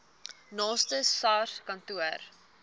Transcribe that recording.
naaste sars kantoor